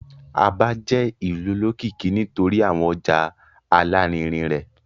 Aba jẹ ìlú olókìkí nítorí awọn ọja alarinrin rẹ.